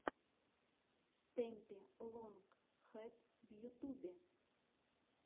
стэмпи лонг хэд в ютубе